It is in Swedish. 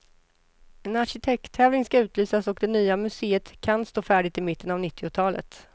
En arkitekttävling ska utlysas och det nya museet kan stå färdigt i mitten av nittiotalet.